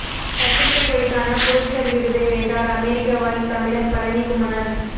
பத்திரிகை துறைக்கான புலிட்சர் விருதை வென்றார் அமெரிக்க வாழ் தமிழர் பழனி குமனன்